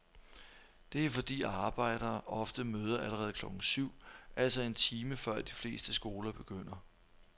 Det er fordi arbejdere ofte møder allerede klokken syv, altså en time før de fleste skoler begynder.